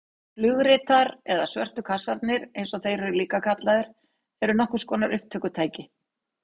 Flugritar eða svörtu kassarnir eins og þeir eru líka kallaðir eru nokkurs konar upptökutæki.